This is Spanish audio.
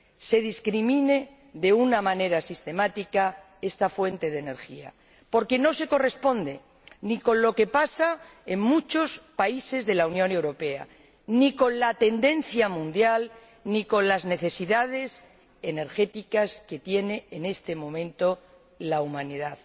Se discrimina de una manera sistemática esta fuente de energía, porque no se corresponde ni con lo que pasa en muchos países de la Unión Europea, ni con la tendencia mundial, ni con las necesidades energéticas que tiene en este momento la humanidad.